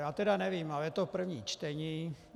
Já tedy nevím, ale je to první čtení.